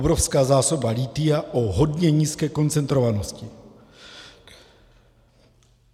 Obrovská zásoba lithia o hodně nízké koncentrovanosti.